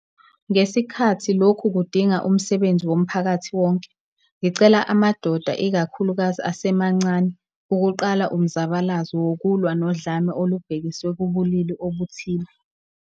Ngesikhathi lokhu kudingaumsebenzi womphakathi wonke, ngicela amadoda ikakhulukazi asemancane ukuqala umzabalazo wokulwa nodlame olubhekiswe kubulili obuthile.